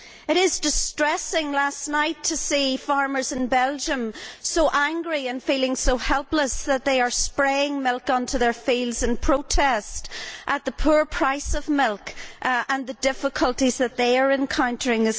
It was distressing last night to see farmers in Belgium so angry and feeling so helpless that they are spraying milk onto their fields in protest at the poor price of milk and the difficulties that they too are encountering.